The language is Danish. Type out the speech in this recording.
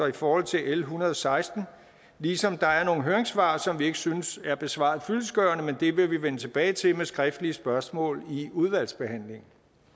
i forhold til l en hundrede og seksten ligesom der er nogle høringssvar som vi ikke synes er besvaret fyldestgørende men det vil vi vende tilbage til med skriftlige spørgsmål i udvalgsbehandlingen